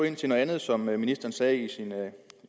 ind til noget andet som ministeren sagde i